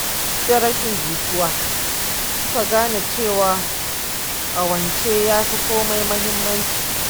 Duk da rashin jituwa, suka gane cewa ƙawance yafi komai muhimmanci.